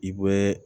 I bɛ